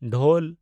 ᱰᱷᱳᱞ